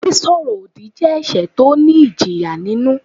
Sísọ ọ̀rọ̀-òdì jẹ́ ẹ̀ṣẹ̀ tó ní ìjìyà nínú.